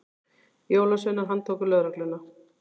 Jólasveinar handtóku lögregluna